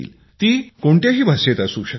ती कोणत्याही भाषेत असू शकते